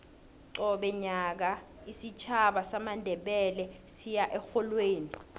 qobe nyaka isitjhaba samandebele siya erholweni